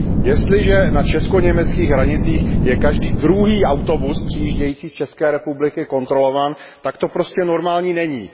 Jestliže na česko německých hranicích je každý druhý autobus přijíždějící z České republiky kontrolován, tak to prostě normální není.